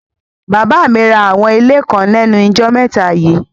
Bàbá mi ra àwọn ilé kan lẹ́nujọ́ mẹ́ta yíì.